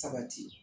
Sabati